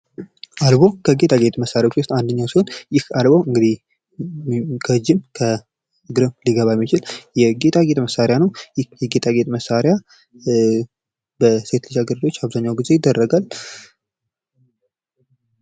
አልቦ ከጌጣጌጥ መሳሪያዎች ውስጥ አንደኛው ሲሆን ይህ አልቦ እንግዲህ ከእጅም ከእግርም ሊገባ የሚችል የጌጣጌጥ መሳሪያ ነው። ይህ የጌጣጌጥ መሳሪያ በሴት ልጅ እግር አብዛኛውን ጊዜ ይደረጋል።